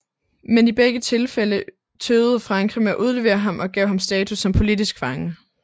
Men i begge tilfælde tøvede Frankrig med at udlevere ham og gav ham status som politisk fange